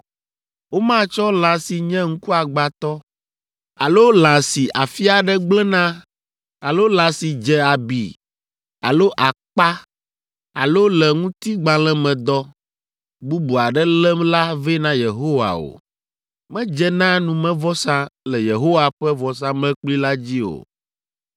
Womatsɔ lã si nye ŋkuagbãtɔ alo lã si afi aɖe gblẽ na alo lã si dze abi alo akpa alo le ŋutigbalẽmedɔ bubu aɖe lém la vɛ na Yehowa o. Medze na numevɔsa le Yehowa ƒe vɔsamlekpui la dzi o.